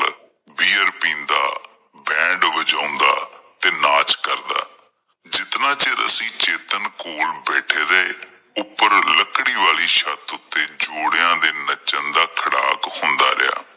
Band ਵਜਾਉਂਦਾ ਤੇ ਨਾਚ ਕਰਦਾ ਜਿਤਨਾ ਚਿਰ ਅਸੀਂ ਚੇਤਨ ਕੋਲ ਬੈਠੇ ਰਹੇ ਉੱਪਰ ਲਕੜੀ ਵਾਲੀ ਛੱਤ ਉੱਤੇ ਜੋੜਿਆਂ ਦੇ ਨੱਚਣ ਦਾ ਖੜਾਕ ਹੁੰਦਾ ਰਿਹਾ।